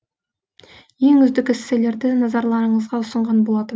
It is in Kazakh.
ең үздік эсселерді назарларыңызға ұсынған болатын